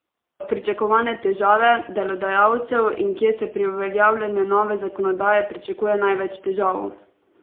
Pričakovane težave delodajalcev In kje se pri uveljavljanju nove zakonodaje pričakuje največ težav?